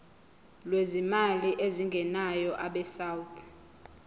lwezimali ezingenayo abesouth